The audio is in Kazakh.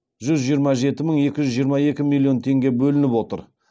жүз жиырма жеті мың екі жүз жиырма екі миллион теңге бөлініп отыр